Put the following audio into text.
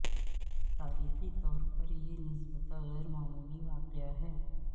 تاریخی طور پر یہ نسبتا غیر معمولی واقعہ ہے